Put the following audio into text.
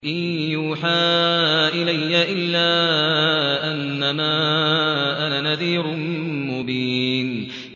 إِن يُوحَىٰ إِلَيَّ إِلَّا أَنَّمَا أَنَا نَذِيرٌ مُّبِينٌ